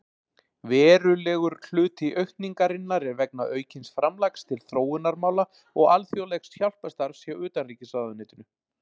Verulegur hluti aukningarinnar er vegna aukins framlags til þróunarmála og alþjóðlegs hjálparstarfs hjá utanríkisráðuneytinu.